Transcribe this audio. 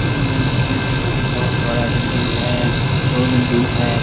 उम्म building बहुत बड़ा building है दो बिल्डिंग है।